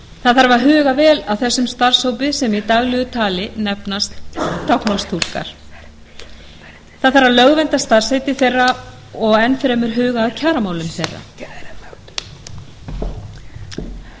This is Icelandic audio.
það þarf að huga vel að þessum starfshópi sem í daglegu tali nefnist táknmálstúlkar það þarf að lögvernda starfsheiti þeirra og enn fremur huga að kjaramálum